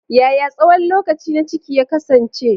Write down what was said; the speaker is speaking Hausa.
Yaya tsawon lokaci na ciki ya kasance?